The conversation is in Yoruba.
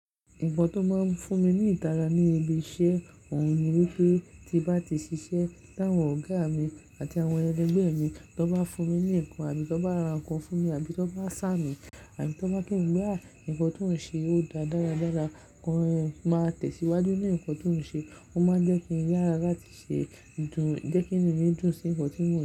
Nǹkan tó máa ń fún mi ní ìtara ní ibi iṣẹ́ òun ni wípé tí bá ti ṣiṣẹ́, tí àwọn ọ̀gá mi àti àwọn ẹlẹgbẹ́ mi tó bá fún mi ní nǹkan àbí tó bá ra nǹkan fún mi àbí tó bá ṣà mí àbí tó bá tún gbá nǹkan tó ń ṣe ó dáa dáradára, ko máa tẹ̀síwájú ni nǹkan tó ń ṣe. Ó máa jẹ́ kí n yára láti ṣe dùn, jẹ́ kí èmi dùn sí nǹkan tí mò ń ṣe.